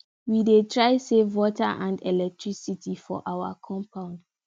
we dey try save water and electricity for our compound